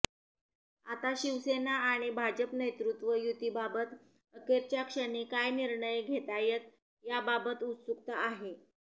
आता शिवसेना आणि भाजप नेतृत्व युतीबाबत अखेरच्या क्षणी काय निर्णय घेतातय याबाबत उत्सुकता आहे